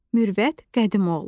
Mürvət Qədimoğlu.